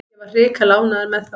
Ég var hrikalega ánægður með þá.